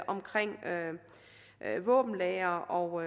omkring våbenlagre og